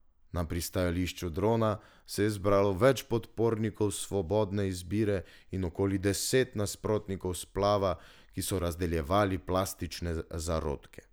Na pristajališču drona se je zbralo več podpornikov svobodne izbire in okoli deset nasprotnikov splava, ki so razdeljevali plastične zarodke.